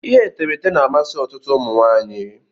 Ihe etemeete na-amasị ọtụtụ ụmụ nwaanyị.